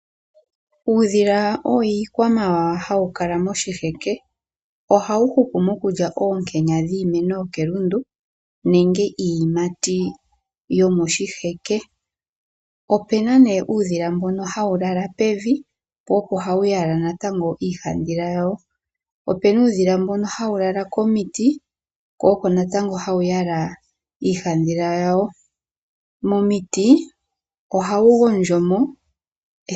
Uudhila owo iikwamawawa. Oha wu kala moshiheke. Oha wu hupu mokulya oonkenya dhiimeno yokelundu, nenge iiyimati yomoshiheke. Opuna uudhila mbono ha wu lala pevi, po opo ha wu yala iihadhila yawo. Opuna uudhila mbono ha wulala komiti, ko oko ha wu yala iihadhila yawo. Momiti oha wu gondjo mo.